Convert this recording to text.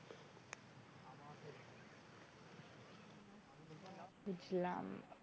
বুঝলাম,